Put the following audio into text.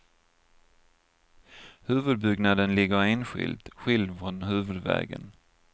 Huvudbyggnaden ligger enskilt, skild från huvudvägen.